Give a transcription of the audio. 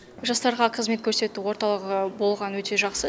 жастарға қызмет көрсету орталығы болғаны өте жақсы